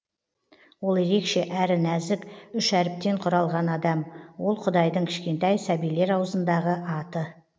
ол ерекше әрі нәзік үш әріптен құралған адам ол құдайдың кішкентай сәбилер аузындағы аты